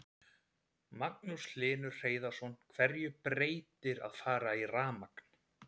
Magnús Hlynur Hreiðarsson: Hverju breytir að fara í rafmagn?